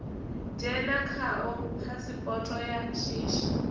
dzhena khao phasipoto ya shishi